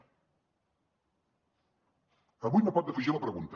avui no pot defugir la pregunta